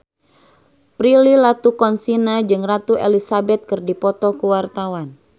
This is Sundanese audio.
Prilly Latuconsina jeung Ratu Elizabeth keur dipoto ku wartawan